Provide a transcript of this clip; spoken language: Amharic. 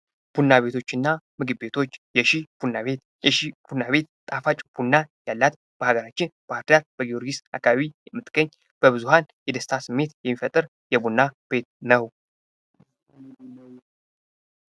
ቡና ቤቶችና ምግብ ቤቶች ፦ የሺ ቡና ቤት ፦ የሺ ቡና ቤት ጣፋጭ ቡና ያላት ፣ በሀገራችን በባህርዳር በጊዮርጊስ አካባቢ የምትገኝ ፣ በብዙሀን የደስታ ስሜት የሚፈጥር የቡና ቤት ነው ።